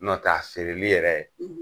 N' ɔ tɛ a feere li yɛrɛ